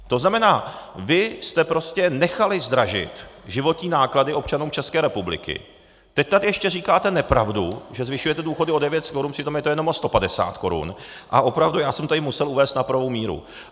To znamená, vy jste prostě nechali zdražit životní náklady občanům České republiky, teď tady ještě říkáte nepravdu, že zvyšujete důchody o 900 korun, přitom je to jenom o 150 korun, a opravdu, já jsem tady musel uvést na pravou míru.